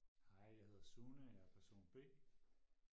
hej jeg hedder Sune og jeger person b